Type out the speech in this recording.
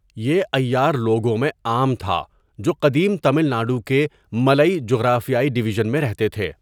یہ عیار لوگوں میں عام تھا جو قدیم تمل ناڈو کے 'ملئی جغرافیائی ڈویژن میں رہتے تھے۔